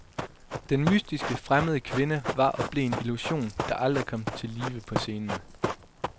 Den mystiske, fremmede kvinde var og blev en illusion, der aldrig kom til live på scenen.